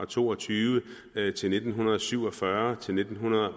to og tyve til nitten syv og fyrre til nitten